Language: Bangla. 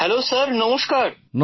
হ্যালো স্যার নমস্কার